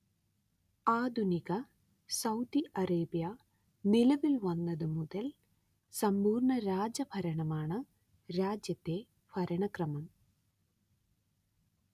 ആധുനിക Saudi Arabia നിലവിൽ വന്നത് മുതൽ സമ്പൂർണ രാജ ഭരണമാണ് രാജ്യത്തെ ഭരണക്രമം